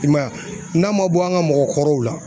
I m'a ye n'a ma bɔ an ka mɔgɔkɔrɔw la